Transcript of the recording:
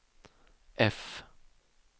F